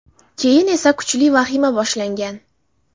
Keyin esa kuchli vahima boshlangan.